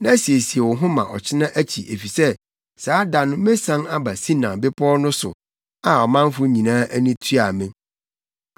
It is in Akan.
na siesie wo ho ma ɔkyena akyi efisɛ saa da no mesian aba Sinai Bepɔw no so a ɔmanfo nyinaa ani tua me.